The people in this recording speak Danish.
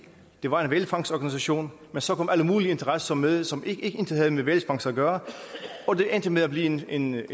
det var en hvalfangstorganisation men så kom alle mulige interesser med som intet havde med hvalfangst at gøre og det endte med at blive en en